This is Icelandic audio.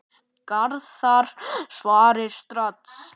Garðar svarar strax.